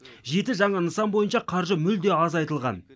жеті жаңа нысан бойынша қаржы мүлде азайтылған